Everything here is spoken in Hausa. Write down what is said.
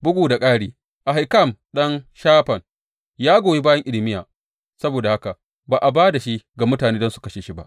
Bugu da ƙari, Ahikam ɗan Shafan ya goyi bayan Irmiya, saboda haka ba a ba da shi ga mutane don su kashe shi ba.